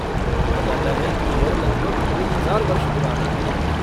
माना जाता है कि यह लगभग दो हजार वर्ष पुराना।